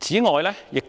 此外，我們亦應